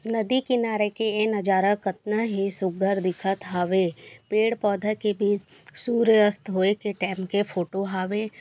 नदी किनारे के ए नजारा कतना हे सुघघर दिखत हवे पेड़ पौधा के भी सूर्यास्त होये के टाइम के फोंटो हावे।